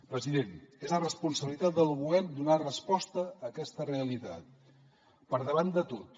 president és la responsabilitat del govern donar resposta a aquesta realitat per davant de tot